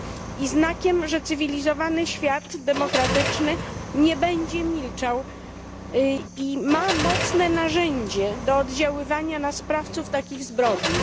i znakiem, że cywilizowany świat demokratyczny nie będzie milczał i ma mocne narzędzie do oddziaływania na sprawców takich zbrodni.